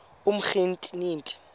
umtriniti